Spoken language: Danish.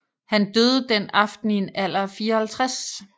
Han døde den aften i en alder af 54